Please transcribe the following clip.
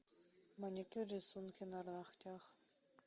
маникюр рисунки на ногтях